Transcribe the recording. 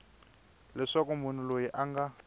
leswaku munhu loyi a nga